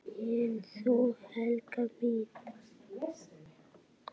En þú, Helga mín?